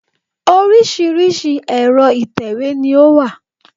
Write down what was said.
Oríṣiríṣi ẹ̀rọ ìtẹ̀wé ni o wà.